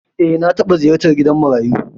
Eh, na taɓa ziyartar gidan marayu.